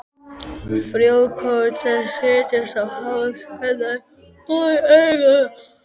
Frjókorn þess setjast á hár hennar og í augun.